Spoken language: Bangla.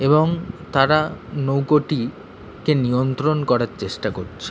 এবং তারা নৌকোটি কে নিয়ন্ত্রণ করার চেষ্টা করছে।